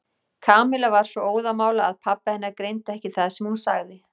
Kamilla var svo óðamála að pabbi hennar greindi ekki það sem hún sagði.